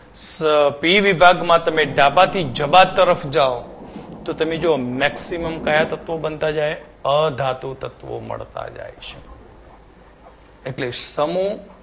અમ પી વિભાગમાં તમે ડાબાથી જબા તરફ જાવ તો તમે જુઓ maximum કયા તત્વો બનતા જાય અધાતુ તત્વો મળવા જાય છે એટલે સમુહ